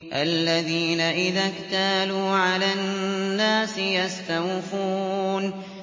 الَّذِينَ إِذَا اكْتَالُوا عَلَى النَّاسِ يَسْتَوْفُونَ